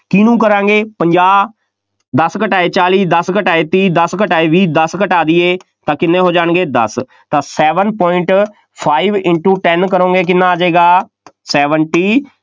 ਕਿਹਨੂੰ ਕਰਾਂਗੇ, ਪੰਜਾਹ, ਦਸ ਘਟਾਏ, ਚਾਲੀ, ਦਸ ਘਟਾਏ, ਤੀਹ, ਦਸ ਘਟਾਏ ਵੀਹ, ਦਸ ਘਟਾ ਦੇਈਏ ਤਾਂ ਕਿੰਨੇ ਹੋ ਜਾਣਗੇ ਦਸ, ਤਾਂ seven point five into ten ਕਰੋਂਗੇ ਤਾਂ ਕਿੰਨਾ ਆ ਜਾਏਗਾ, seventy